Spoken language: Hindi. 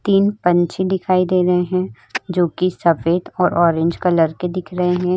तीन पंछी दिखाई दे रहे हैं जोकि सफेद और ऑरेंज कलर के दिख रहे हैं।